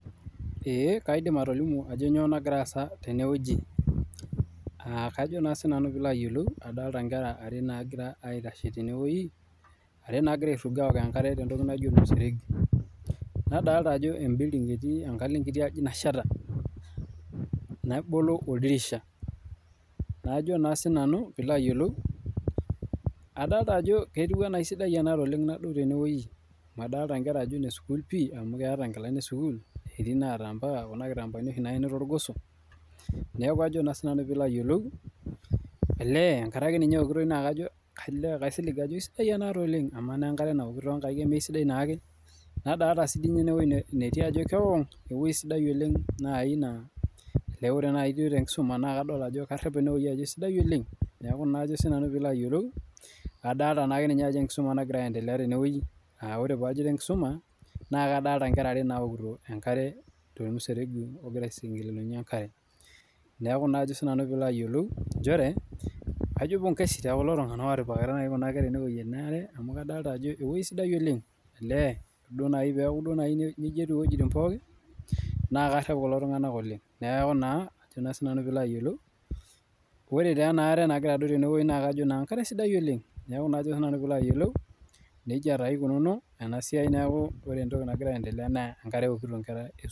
Eeh kaidim atolimu ajo kainyoo nakira aasa tene wueji, kajo naa sinanu piilo ayielou, adolita inkera are naakira aitasho tenewoji, are naakira airrugo aok enkare tentoki naji ormuseregi. Nadolita ajo e building etii enkalo enkiti aji nasheta, nebolo oldirisha. Najo naa sinanu piilo ayielou, adolita ajo ketiu ena esidai enaare oleng' nadou tenewoji. Amu adolita inkera ajo ine sukuul pii amu eeta inkilani esukuul. Etii naata ambaka kuna kitampaani oshi naeni toorgoso. Neeku ajo naa sinanu piilo ayielou, elee enkare ake ninye eokitoi naa kaisilig ajo aisidai enaare oleng'. Amaa naa enkare naoki toonkaik eme esiadai naake. Nadolita sii sininye enewuoji netii ajo kewong, ewoji sidai oleng' naai naa ole wore akeenya naaji tenkisuma naa kadol ajo karep enewuoji ajo esidai oleng'. Neeku kajo naa sinanu piilo ayielou, adolita naake ninye ajo enkisuma nakira aendelea tenewoji, aa wore paajito enkisuma, naa kadoolta inkera ware naokito enkare tomuseregi okira aishurunyinye enkare. Neeku naa ajo sinanu piilo ayielou nchere, kajo pongesi tekulo tunganak ootipikakitia kuna kere enewuoji enaare. Amu kadolita ajo ewoji sidai oleng, olee wore duo naaji peeku nejia etiu iwejitin pookin, naa karep kulo tunganak oleng'. Neeku naa, ajo naa sinanu piilo ayielou, wore taa enaare nakira adou tenewoji naa kajo naa enkare sidai oleng', neeku ajo naa sinanu piilo ayielou, nejia taa ikununuo ena siai neeku wore entoki nakira aendelea naa enkare eokito inkera esukuul